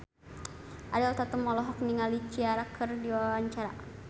Ariel Tatum olohok ningali Ciara keur diwawancara